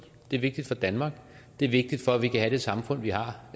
det er vigtigt for danmark det er vigtigt for at vi kan have det samfund vi har